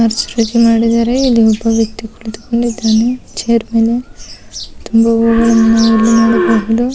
ಮಾಡಿದಾರೆ. ಇಲ್ಲಿ ಒಬ್ಬ ವ್ಯಕ್ತಿ ಕುಳಿತುಕೊಂಡಿದ್ದಾನೆ ಚೇರ್ ಮೇಲೆ --